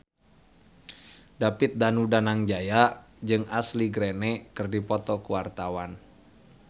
David Danu Danangjaya jeung Ashley Greene keur dipoto ku wartawan